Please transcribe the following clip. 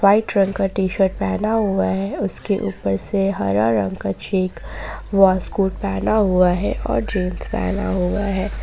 White रंग का T shirt पहना हुआ है उसके ऊपर से हरा रंग का चेक वाशकोट पहना हुआ है और जींस पहना हुआ है।